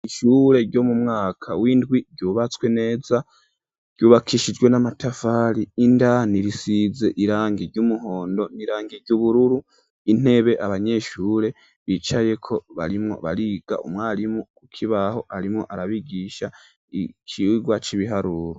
Ishure ryo mu mwaka w'indwi ryubatswe neza ryubakishijwe n'amatafari indani risize irangi ry'umuhondo n'irangi ry'ubururu intebe abanyeshure bicaye ko barimwo bariga .Umwarimu ukibaho arimo arabigisha ikigwa c'ibiharuro